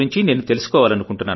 నేను తెలుసుకోవాలనుకుంటున్నాను